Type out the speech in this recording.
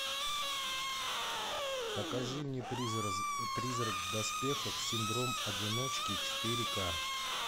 покажи мне призрак в доспехах синдром одиночки четыре ка